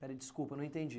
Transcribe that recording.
Peraí, desculpa, não entendi.